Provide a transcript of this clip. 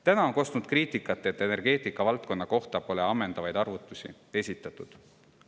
Täna on kostnud kriitikat, et energeetikavaldkonna kohta pole ammendavaid arvutusi esitatud.